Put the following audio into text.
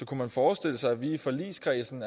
kunne man forestille sig at vi i forligskredsen